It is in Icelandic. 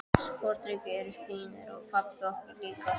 Sporðdrekar eru fínir, og pabbar okkar líka.